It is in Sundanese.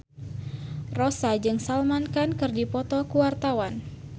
Rossa jeung Salman Khan keur dipoto ku wartawan